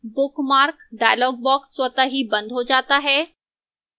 bookmark dialog box स्वतः ही बंद हो जाता है